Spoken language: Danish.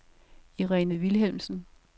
Irene Vilhelmsen